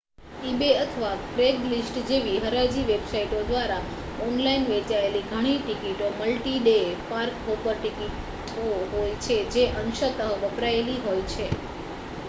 eBay અથવા Craigslist જેવી હરાજી વેબસાઇટો દ્વારા ઓનલાઇન વેચાયેલી ઘણી ટિકિટો મલ્ટી-ડે પાર્ક-હોપર ટિકિટો હોય છે જે અંશતઃ વપરાયેલી હોય છે